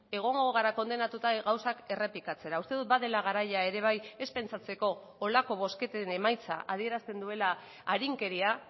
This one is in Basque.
egongo gara kondenatuta gauzak errepikatzera uste dut badela garaia ere bai ez pentsatzeko horrelako bozketen emaitza adierazten duela arinkeria